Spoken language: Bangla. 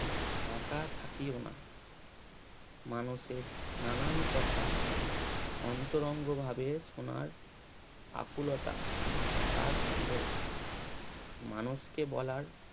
একা থাকিও না মানুষের নানান কথা অন্তরঙ্গ ভাবে শোনার আকুলতা তার ছিল মানুষকে বলার